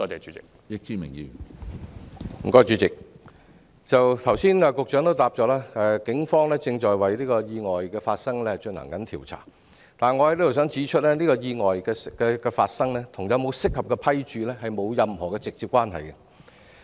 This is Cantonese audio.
主席，局長剛才在答覆中指出，警方正就意外進行調查，但我想在此指出，這次意外與有否適合的服務批註並沒有直接關係。